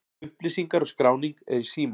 Upplýsingar og skráning er í síma.